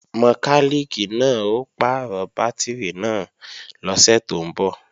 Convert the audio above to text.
Mọkálìkì náà ó pàrọ̀ bátìrì náà lọ́sẹ̀ tó ń bọ̀